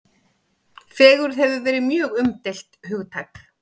Fegurð hefur verið mjög umdeilt hugtak.